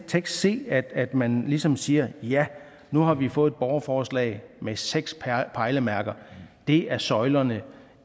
tekst se at at man ligesom siger at ja nu har vi fået et borgerforslag med seks pejlemærker og det er søjlerne